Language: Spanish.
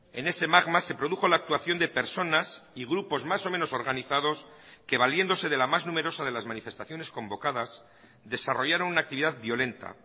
en ese magma se produjo la actuación de personas y grupos más o menos organizados que valiéndose de la más numerosa de las manifestaciones convocadas desarrollaron una actividad violenta